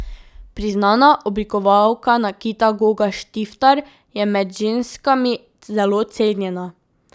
Priznana oblikovalka nakita Goga Štiftar je med ženskami zelo cenjena.